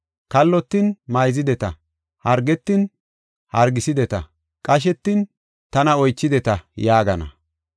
kallotin mayzideta, hargetin hargisideta, qashetin tana oychideta’ yaagana.